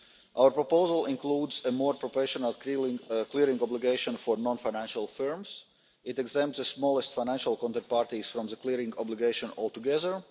Our proposal includes a more professional clearing obligation for non financial firms it exempts the smallest financial counterparties from the clearing obligation altogether